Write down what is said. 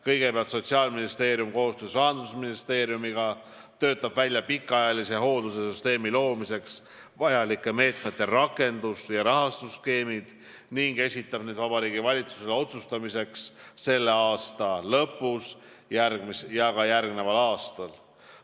Kõigepealt, Sotsiaalministeerium koostöös Rahandusministeeriumiga töötab välja pikaajalise hoolduse süsteemi loomiseks vajalike meetmete rakendus- ja rahastusskeemid ning esitab need Vabariigi Valitsusele otsustamiseks selle aasta lõpus ja ka järgneval aastal.